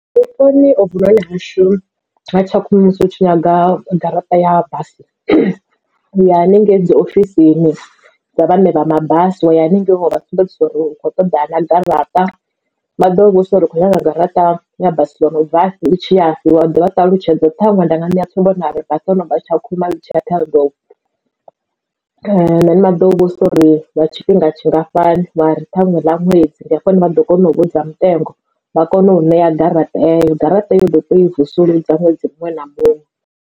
Vhuponi ovhu noni hashu ha Tshakhuma musi u tshi nyaga garaṱa ya basi uya haningei dzi ofisini dza vhaṋe vha mabasi wa ya haningei wa vha sumbedzisa uri u kho ṱoḓa na garaṱa. Vha ḓo u vhudzisa uri ukho nyaga garaṱa ya basi yono bvafhi itshi yafhi wa ḓivha ṱalutshedza uri ṱhaṅwe nda nga ṋeya tsumbo nda ri basi ḽono bva Tshakhuma ḽi tshi ya Ṱhohoyanḓou. And the vhaḓo u vhudzisa uri lwa tshifhinga tshingafhani wa ri ṱhaṅwe ḽa ṅwedzi ndi afho hune vha ḓo kona u u vhudza mutengo vha kone u ṋea garaṱa eyo garaṱa eyo uḓo tea ui vusuludza ṅwedzi muṅwe na muṅwe.